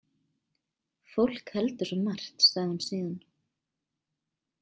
Fólk heldur svo margt, sagði hún síðan.